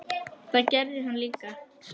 Það gerði hann líka.